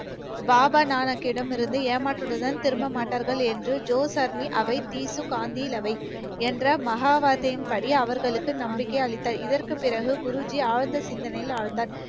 பாபா நானக்கிடம் இருந்து ஏமாற்றத்துடன் திரும்ப மாட்டார்கள் என்று, ஜோஸ் அர்மி அவை தீசு காந்திலவை என்ற மகா வார்த்தையின்படி அவர்களுக்கு நம்பிக்கை அளித்தார் இதற்கு பிறகு குருஜி ஆழ்ந்த சிந்தனையில் ஆழ்ந்தார்.